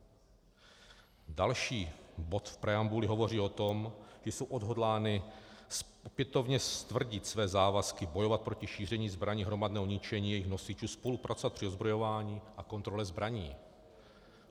Další bod v preambuli hovoří o tom, že jsou odhodláni opětovně stvrdit své závazky, bojovat proti šíření zbraní hromadného ničení, jejich nosičů, spolupracovat při odzbrojování a kontrole zbraní.